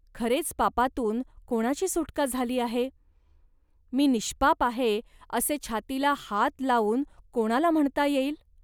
."खरेच पापातून कोणाची सुटका झाली आहे. मी निष्पाप आहे, असे छातीला हात लावून कोणाला म्हणता येईल